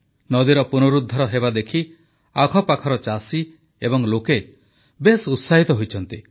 ନଦୀର ପୁନରୁଦ୍ଧାର ହେବାଦେଖି ଆଖପାଖର ଚାଷୀ ଏବଂ ଲୋକେ ବେଶ୍ ଉତ୍ସାହିତ ହୋଇଛନ୍ତି